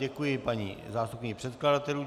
Děkuji paní zástupkyni předkladatelů.